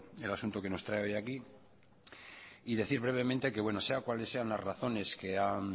por el asunto que nos trae hoy aquí y decir brevemente que sean cuales sean las razones que han